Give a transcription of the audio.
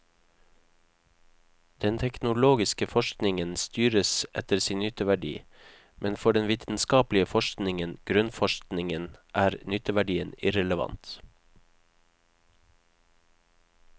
Den teknologiske forskningen styres etter sin nytteverdi, men for den vitenskapelige forskningen, grunnforskningen, er nytteverdien irrelevant.